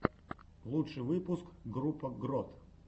лучший выпуск группа грот